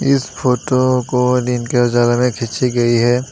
इस फोटो को दिन के उजाला में खींची गई है।